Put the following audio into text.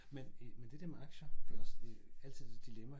Men i men det der med aktier det også altid lidt et dilemma